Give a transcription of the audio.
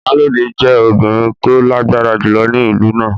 Iyalode jẹ́ obìnrin tó lágbára jùlọ ní ìlú náà.